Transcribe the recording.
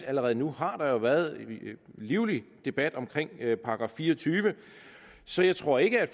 allerede nu været en livlig debat om § fire og tyve så jeg tror ikke at